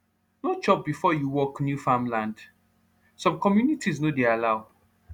no chop before you work new farmland some communities no dey allow